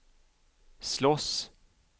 slåss